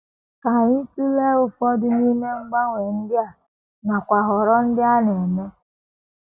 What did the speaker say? Ka anyị tụlee ụfọdụ n’ime mgbanwe ndị a, nakwa nhọrọ ndị a na - eme.